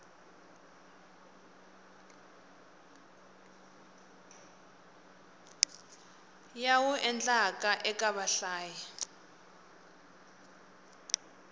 ya wu endlaka eka vahlayi